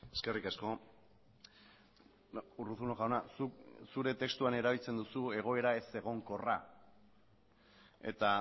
eskerrik asko urruzuno jauna zuk zure testuan erabiltzen duzu egoera ezegonkorra eta